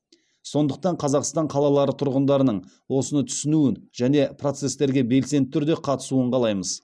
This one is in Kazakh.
сондықтан қазақстан қалалары тұрғындарының осыны түсінуін және процестерге белсенді түрде қатысуын қалаймыз